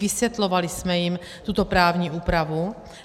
Vysvětlovali jsme jim tuto právní úpravu.